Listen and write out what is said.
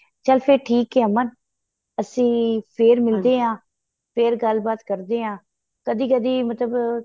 ਚੱਲ ਫ਼ਿਰ ਠੀਕ ਏ ਅਮਨ ਅਸੀਂ ਫ਼ੇਰ ਮਿਲਦੇ ਹਾਂ ਫ਼ੇਰ ਗੱਲ ਬਾਥ ਕਰਦੇ ਹਾਂ ਕਦੀਂ ਕਦੀਂ ਮਤਲਬ